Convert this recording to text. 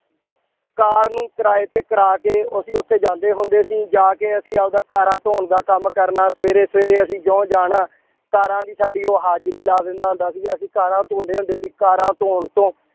ਕਾਰ ਨੂੰ ਕਿਰਾਏ ਤੇ ਕਰਾ ਕੇ ਅਸੀਂ ਉੱਥੇ ਜਾਂਦੇ ਹੁੰਦੇ ਸੀ, ਜਾ ਕੇ ਅਸੀਂ ਆਪਦਾ ਕਾਰਾਂ ਧੌਣ ਦਾ ਕੰਮ ਕਰਨਾ, ਸਵੇਰੇ ਸਵੇਰੇ ਅਸੀਂ ਜਿਉਂ ਜਾਣਾ ਕਾਰਾਂ ਦੀ ਸਾਡੀ ਉਹ ਹਾਜ਼ਰੀ ਲਾ ਦਿੰਦਾ ਹੁੰਦਾ ਸੀ ਅਸੀਂ ਕਾਰਾਂ ਧੋਂਦੇ ਹੁੰਦੇ ਸੀ ਕਾਰਾਂ ਧੌਣ ਤੋਂ